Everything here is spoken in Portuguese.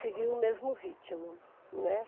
Seguindo o mesmo ritmo, né?